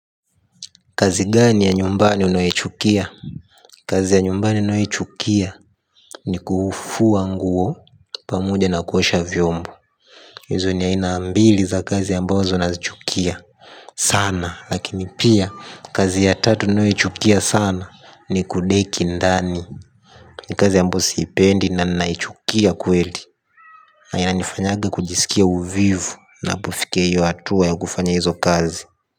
Kazi gani ya nyumbani unayoichukia? Kazi ya nyumbani nayoichukia ni kufua nguo pamuja na kuosha vyombo. Hizo ni aina mbili za kazi ambazo nazichukia sana. Lakini pia kazi ya tatu nayoichukia sana ni kudeki ndani. Kazi ambayo siipendi na naichukia kweli. Na inanifanyaga kujisikia uvivu napofikia hiyo hatua ya kufanya hizo kazi.